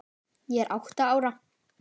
Ég er átta ára.